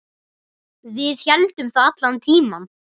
Við héldum það allan tímann.